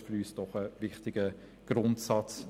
Doch ist es für uns ein wichtiger Grundsatz.